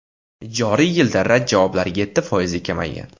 Joriy yilda rad javoblari yetti foizga kamaygan.